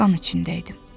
Qan içində idim.